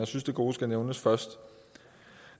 synes det gode skal nævnes først